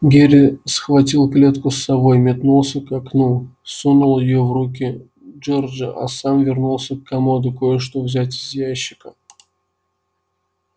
герри схватил клетку с совой метнулся к окну сунул её в руки джорджа а сам вернулся к комоду кое-что взять из ящика